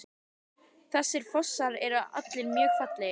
Þessir fossar eru allir mjög fallegir.